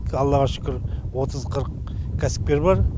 аллаға шүкір отыз қырық кәсіпкер бар